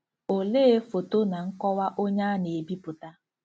Olee foto na nkọwa onye a na-ebipụta? '